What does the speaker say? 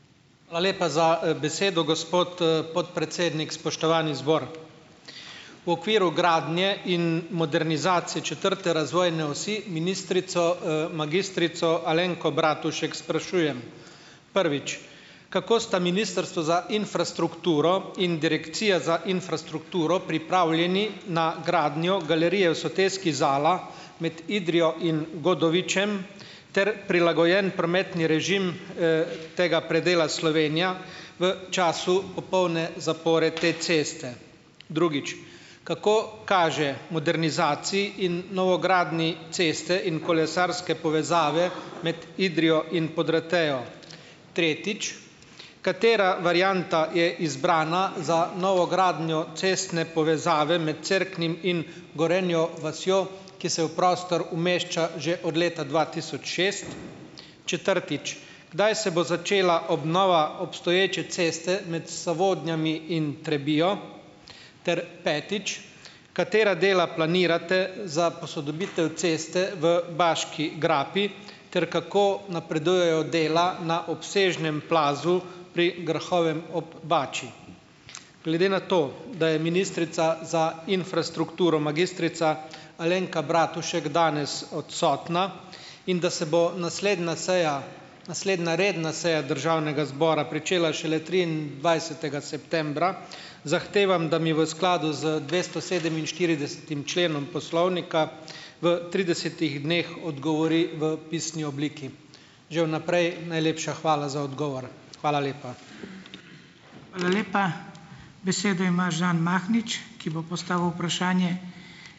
Hvala lepa za, besedo, gospod, podpredsednik. Spoštovani zbor! V okviru gradnje in modernizacije četrte razvojne osi ministrico, magistrico Alenko Bratušek sprašujem: Prvič. Kako sta Ministrstvo za infrastrukturo in Direkcija za infrastrukturo pripravljena na gradnjo galerije v soteski Zala med Idrijo in Godovičem ter prilagojen prometni režim, tega predela Slovenija v času popolne zapore te ceste? Drugič. Kako kaže modernizaciji in novogradnji ceste in kolesarske povezave med Idrijo in Podratejo? Tretjič. Katera varianta je izbrana za novogradnjo ceste povezave med Cerknim in Gorenjo vasjo, ki se v prostor umešča že od leta dva tisoč šest? Četrtič. Kdaj se bo začela obnova obstoječe ceste med Sovodnjem in Trebijo? Ter petič. Katera dela planirate za posodobitev ceste v Baški grapi ter kako napredujejo dela na obsežnem plazu pri Grahovem ob Bači? Glede na to, da je ministrica za infrastrukturo, magistrica Alenka Bratušek, danes odsotna in da se bo naslednja seja naslednja redna seja Državnega zbora pričela šele triindvajsetega septembra, zahtevam, da mi v skladu z dvestosedeminštiridesetim členom poslovnika v tridesetih dneh odgovori v pisni obliki. Že v naprej najlepša hvala za odgovor. Hvala lepa.